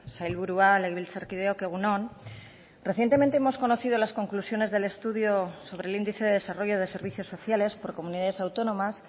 sailburua legebiltzarkideok egun on recientemente hemos conocido las conclusiones del estudio sobre el índice de desarrollo de servicios sociales por comunidades autónomas